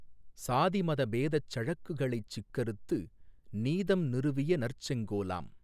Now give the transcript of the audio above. சாதிமத பேதச் சழக்குகளைச் சிக்கறுத்து நீதம் நிறுவியநற் செங்கோலாம்